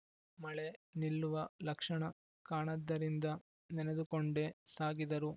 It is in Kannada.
ಮಳೆ ನಿಲ್ಲುವ ಲಕ್ಷಣ ಕಾಣದ್ದರಿಂದ ನೆನೆದುಕೊಂಡೇ ಸಾಗಿದರು